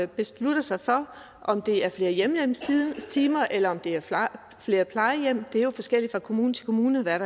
beslutter sig for om det er flere hjemmehjælpstimer eller om det er flere plejehjem det er jo forskelligt fra kommune til kommune hvad